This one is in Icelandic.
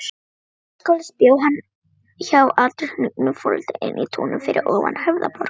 Menntaskólans, bjó hjá aldurhnignum foreldrum inní Túnum fyrir ofan Höfðaborg.